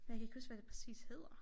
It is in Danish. Jeg kan ikke huske hvad det præcis hedder